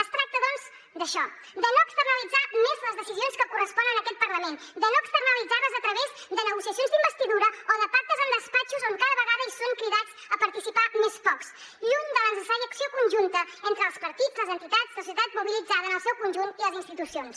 es tracta doncs d’això de no externalitzar més les decisions que corresponen a aquest parlament de no externalitzar les a través de negociacions d’investidura o de pactes en despatxos on cada vegada són cridats a participar més pocs lluny de la necessària acció conjunta entre els partits les entitats la societat mobilitzada en el seu conjunt i les institucions